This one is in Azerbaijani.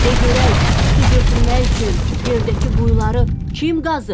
De görək, su götürmək üçün yerdəki quyuları kim qazıb?